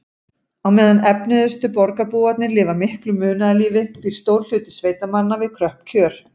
Á meðan efnuðustu borgarbúarnir lifa miklu munaðarlífi býr stór hluti sveitamanna við kröpp kjör.